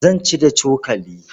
Zan ci da cokali.